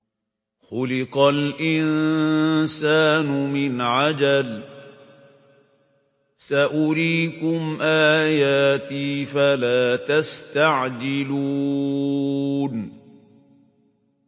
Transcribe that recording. خُلِقَ الْإِنسَانُ مِنْ عَجَلٍ ۚ سَأُرِيكُمْ آيَاتِي فَلَا تَسْتَعْجِلُونِ